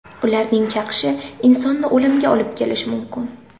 Ularning chaqishi insonni o‘limga olib kelishi mumkin.